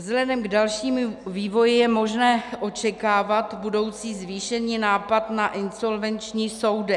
Vzhledem k dalšímu vývoji je možné očekávat budoucí zvýšený nátlak na insolvenční soudy.